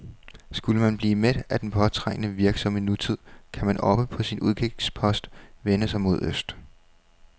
Skulle man blive mæt af den påtrængende, virksomme nutid, kan man oppe på sin udkigspost vende sig mod øst.